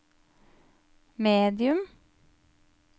medium